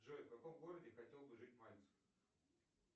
джой в каком городе хотел бы жить мальцев